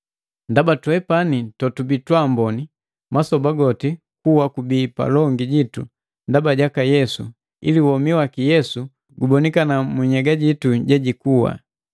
Ndaba twepani totubii twabomi, masoba goti kuwa kubii palongu jitu ndaba jaka Yesu ili womi waki Yesu gubonikana munhyega itu yeikuwa.